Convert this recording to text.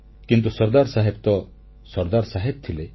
କିନ୍ତୁ ସର୍ଦ୍ଦାର ସାହେବ ତ ସର୍ଦ୍ଦାର ସାହେବ ଥିଲେ